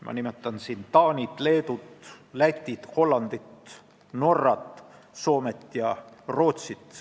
Ma nimetan siin Taanit, Leedut, Lätit, Hollandit, Norrat, Soomet ja Rootsit.